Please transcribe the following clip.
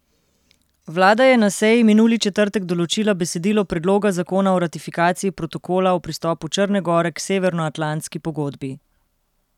Vlada je na seji minuli četrtek določila besedilo predloga zakona o ratifikaciji protokola o pristopu Črne gore k Severnoatlantski pogodbi.